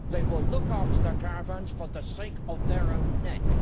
They will look after their caravans for the sake of their own necks.